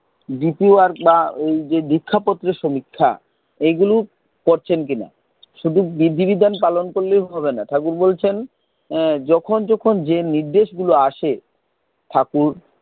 dpwork বা ওই যে দীক্ষা পত্রের সমীক্ষা এইগুলো করছেন কিনা, শুধু বিধি বিধান পালন করলেই হবে না। ঠাকুর বলছেন যখন যখন যে নির্দেশ গুলো আসে ঠাকুর,